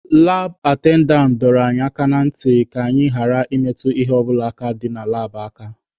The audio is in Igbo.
Laab atendantị dọrọ anyị aka na ntị ka anyị ghara ịmetụ ihe ọ bụla dị na laabụ aka.